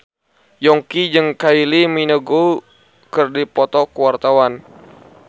Yongki jeung Kylie Minogue keur dipoto ku wartawan